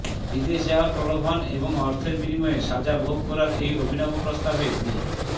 বিদেশ যাওয়ার প্রলোভন এবং অর্থের বিনিময়ে সাজা ভোগ করার এই অভিনব প্রস্তাবে মি